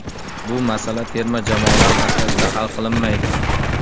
Bu masala terma jamoalari markazida hal qilinmaydi.